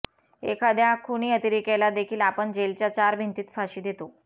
एखाद्या खुनी अतिरेक्याला देखील आपण जेलच्या चार भिंतीत फाशी देतो